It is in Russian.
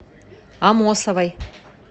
амосовой